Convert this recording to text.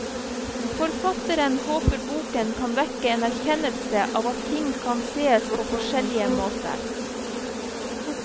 Forfatteren håper boken kan vekke en erkjennelse av at ting kan sees på forskjellige måter.